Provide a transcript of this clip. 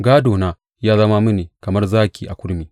Gādona ya zama mini kamar zaki a kurmi.